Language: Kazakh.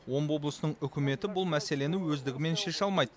омбы облысының үкіметі бұл мәселені өздігінен шеше алмайды